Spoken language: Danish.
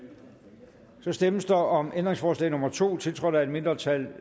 så stemmes der om ændringsforslag nummer to tiltrådt af et mindretal